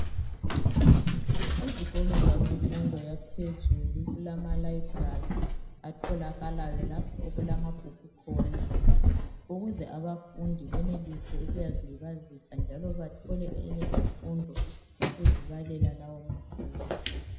Izikolo zabemfundo yaphezulu kulama "Library" atholakalayo lapho okulamabhuku khona, ukuze abafundi benelise ukuyazilibazisa njalo bathole enye imfundo ngokuzibalela lawo mabhuku.